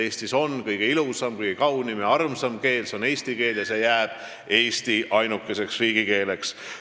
Eestis on kõige ilusam, kõige kaunim ja armsam keel, see on eesti keel, ja see jääb Eesti ainukeseks riigikeeleks.